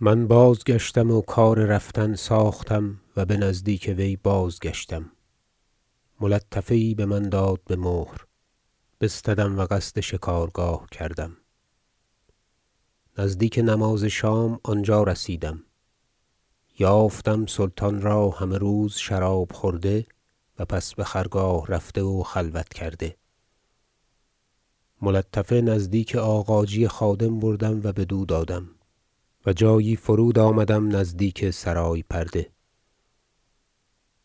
من بازگشتم و کار رفتن ساختم و بنزدیک وی بازگشتم ملطفه یی بمن داد بمهر بستدم و قصد شکارگاه کردم نزدیک نماز شام آنجا رسیدم یافتم سلطان را همه روز شراب خورده و پس بخرگاه رفته و خلوت کرده ملطفه نزدیک آغاجی خادم بردم و بدو دادم و جایی فرود آمدم نزدیک سرای پرده